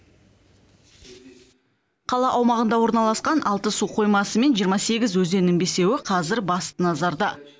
қала аумағында орналасқан алты су қоймасы мен жиырма сегіз өзеннің бесеуі қазір басты назарда